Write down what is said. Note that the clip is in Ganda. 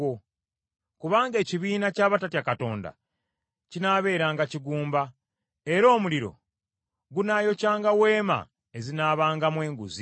Kubanga ekibiina ky’abatatya Katonda kinaabeeranga kigumba, era omuliro gunaayokyanga weema ezinaabangamu enguzi.